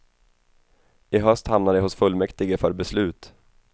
I höst hamnar det hos fullmäktige för beslut.